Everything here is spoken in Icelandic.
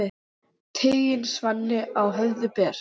Tigin svanni á höfði ber.